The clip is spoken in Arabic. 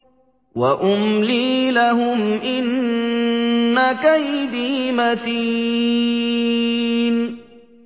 وَأُمْلِي لَهُمْ ۚ إِنَّ كَيْدِي مَتِينٌ